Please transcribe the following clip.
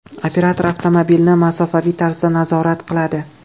Operator avtomobilni masofaviy tarzda nazorat qiladi.